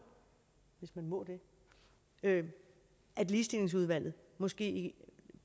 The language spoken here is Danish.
hvis man må det at ligestillingsudvalget måske